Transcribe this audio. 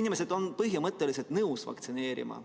Inimesed on põhimõtteliselt nõus vaktsineerima,